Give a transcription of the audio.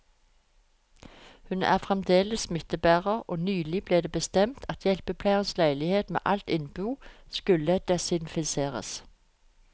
Hun er fremdeles smittebærer, og nylig ble det bestemt at hjelpepleierens leilighet med alt innbo skulle desinfiseres.